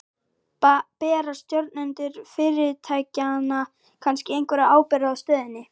Bera stjórnendur fyrirtækjanna kannski einhverja ábyrgð á stöðunni?